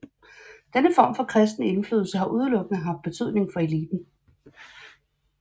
Denne form for kristen indflydelse har udelukkende haft betydning for eliten